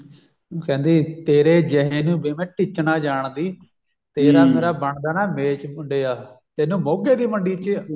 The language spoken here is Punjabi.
ਉਹ ਕਹਿੰਦੀ ਵੀ ਤੇਰੇ ਜਿਹੇ ਨੂੰ ਵੇ ਮੈਂ ਟਿੱਚ ਨਾ ਜਾਣਦੀ ਤੇਰਾ ਮੇਰਾ ਬਣਦਾ ਨਾ ਮੇਚ ਮੁੰਡਿਆ ਤੇਨੂੰ ਮੋਗੇ ਦੀ ਮੰਡੀ ਚ